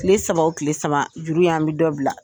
Kile saba o kile saba juru y' an bɛ dɔ bila